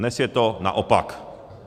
Dnes je to naopak.